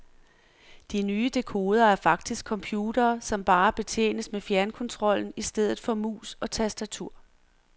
De nye dekodere er faktisk computere som bare betjenes med fjernkontrollen i stedet for mus og tastatur.